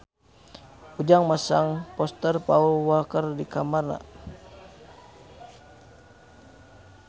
Ujang masang poster Paul Walker di kamarna